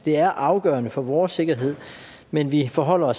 er afgørende for vores sikkerhed men vi forholder